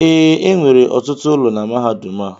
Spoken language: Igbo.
ee, enwere ọtụtụ ụlọ na mahadum a